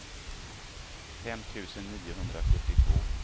fem tusen niohundrasjuttiotvå